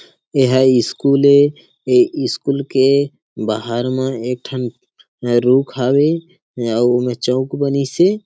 एहे स्कूल हे स्कूल के बाहर में एक ठन रुख हवे अउ उमे चौक बनिसे।